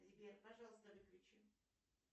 сбер пожалуйста выключи